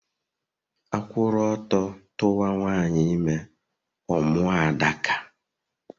A kwuru ọtọ tuwa nwanyị ime, ọ mụọ Adaka